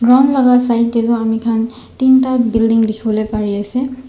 laka side tae toh amikhan teen tae building dikhiwole parease.